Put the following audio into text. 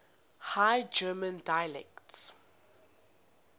high german dialects